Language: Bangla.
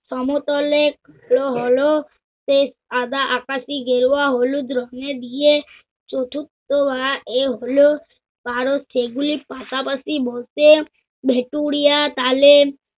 সমতলে দেয়া হল শেষ সাদা, আকাশী, গেরুয়া, হলুদ রঙ্গে দিয়ে চতুর্থ বা এ হল। কারণ, সেগুলো পাশাপাশি বসে ভেটূরিয়া চালে